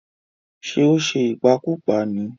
Ṣé ó ṣe ìpakúpa ní?